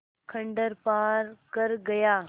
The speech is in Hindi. खंडहर पार कर गया